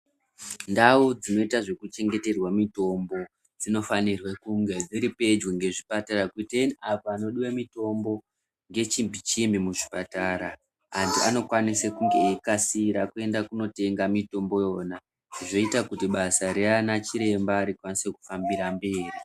Ndau dzinoita zvekuchengeterwa mitombo dzinofanira kunge dziri pedyo nechipatara kuitira kuti panodiwa mitombo ngechimbi--chimbi muchipatara anthu anokwanisa kinge eikasira kuenda kunotenga mitombo iyona zvoita kuti basa raana chiremba rikwanise kufambira mberi.